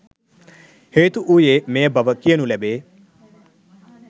හේතු වූයේ මෙය බව කියනු ලැබේ